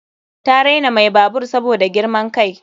Ta raina mai babur saboda girman kai.